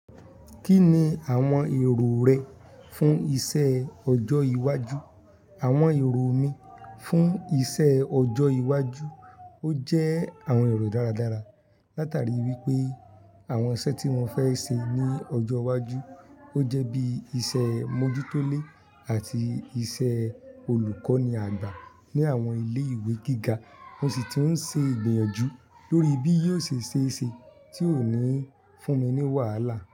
Kí ni àwọn èrò rẹ fún iṣẹ́ ọjọ́ iwájú? Àwọn èrò mi fún iṣẹ́ ọjọ́ iwájú, ó jẹ́ àwọn èrò dáradára. Látàrí wípé àwọn iṣẹ́ tí mo fẹ́ ṣe ní ọjọ́ iwájú, ó jẹ́ bí iṣẹ́ mójútólè àti ìṣe olùkọ́ni àgbà ní àwọn ilé ìwé gíga. Mo sì ti ń ṣe ìgbìnyànjú lórí bí yóò ṣe ṣe é ṣe tí ó ní ń fún mi ní wàhálà.